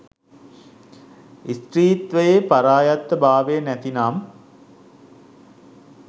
ස්ත්‍රීත්වයේ පරායත්තභාවය නැතිනම්